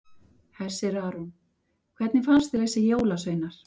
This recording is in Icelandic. Hersir Aron: Hvernig fannst þér þessir jólasveinar?